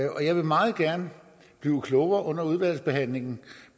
jeg vil meget gerne blive klogere under udvalgsbehandlingen